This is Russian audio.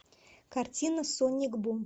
картина соник бум